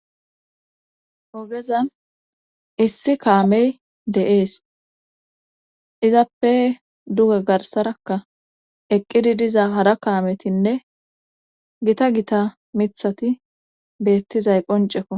ogezan issi kaamey de7ees izappe duge garsarakka eqqidi diza hara kaametinne gita gita mithati beettizay qoncekon